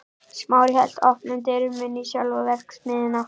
Smári hélt opnum dyrunum inn í sjálfa verksmiðjuna.